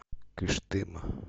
кыштыма